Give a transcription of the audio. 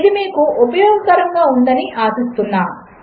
ఇదిమీకుఉపయోగకరముగాఉందనిఆశిస్తున్నాను